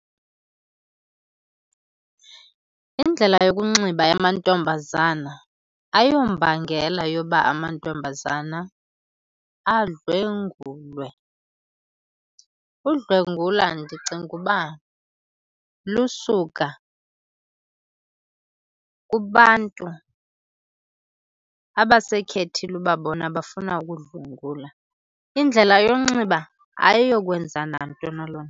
Indlela yokunxiba yamantombazana ayombangela yoba amantombazana adlwengulwe. Udlwengula ndicinga uba lusuka kubantu abasekhethile uba bona bafuna ukudlwengula. Indlela yonxiba ayiyokwenza nanto naloo nto.